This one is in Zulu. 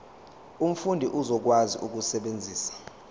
umfundi uzokwazi ukusebenzisa